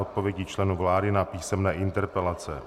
Odpovědi členů vlády na písemné interpelace